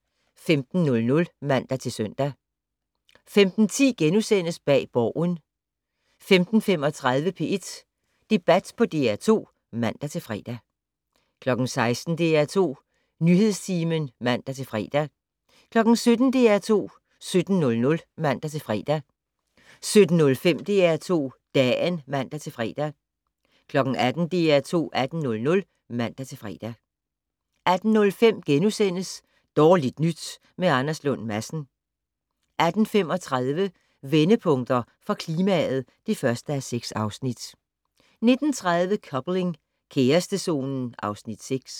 15:00: DR2 15:00 (man-søn) 15:10: Bag Borgen * 15:35: P1 Debat på DR2 (man-fre) 16:00: DR2 Nyhedstimen (man-fre) 17:00: DR2 17:00 (man-fre) 17:05: DR2 Dagen (man-fre) 18:00: DR2 18:00 (man-fre) 18:05: Dårligt nyt med Anders Lund Madsen * 18:35: Vendepunkter for klimaet (1:6) 19:30: Coupling - kærestezonen (Afs. 6)